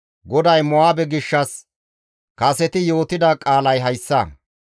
GODAY Mo7aabe gishshas kaseti yootida qaalay hayssa.